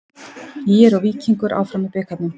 ÍR og Víkingur áfram í bikarnum